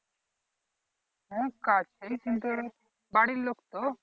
হ্যা কাছেই কিন্তু বাড়ির লোক তো